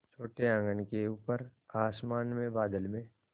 छोटे आँगन के ऊपर आसमान में बादल में